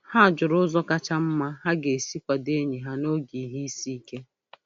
Ha jụrụ ụzọ kacha mma ha ga-esi kwado enyi ha n'oge ihe isi ike.